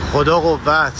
Xuda qüvvət.